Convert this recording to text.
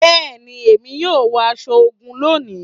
Béèni, Èmí yóò wọ aṣọ ogún lóni